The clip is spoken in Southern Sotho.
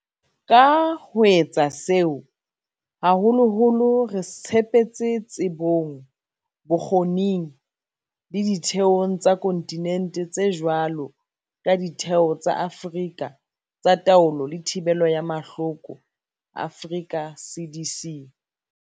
Ka ho etsa seo, haholoholo re tshepetse tsebong, bokgoning le ditheong tsa kontinente tse jwalo ka Ditheo tsa Afrika tsa Taolo le Thibelo ya Mahloko, Africa CDC.